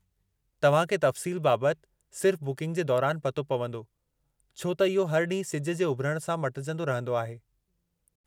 तव्हां खे तफ़्सील बाबति सिर्फ़ु बुकिंग जे दौरानि पतो पवंदो, छो त इहो हर ॾींहुं सिज जे उभिरण सां मटिजंदो रहंदो आहे।